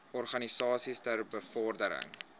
organisasies ter bevordering